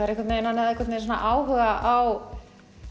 hann hafði áhuga á